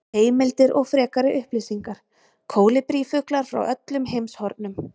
Heimildir og frekari upplýsingar: Kólibrífuglar frá öllum heimshornum.